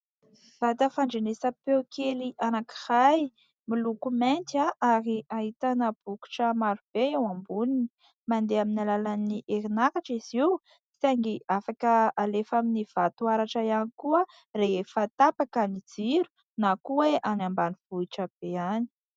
Vata fandrenesam-peo kely anankiray, miloko mainty ary ahitana bokotra maro be eo amboniny. Mandeha amin'ny alalan'ny herin'aratra izy io, saingy afaka alefa amin'ny vato aratra ihany koa rehefa tapaka ny jiro, na koa hoe any ambanivohitra be any.